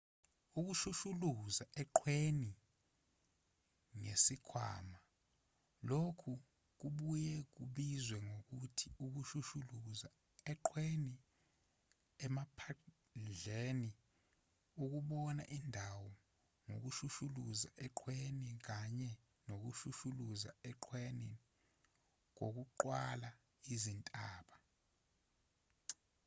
ukushushuluza eqhweni ngesikhwama lokhu kubuye kubizwe ngokuthi ukushushuluza eqhweni emaphandleni ukubona indawo ngokushushulaza eqhweni kanye nokushushuluza eqhweni kokuqwala izintaba